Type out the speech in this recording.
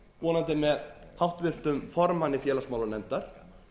það vonandi með háttvirtum formanni félagsmálanefndar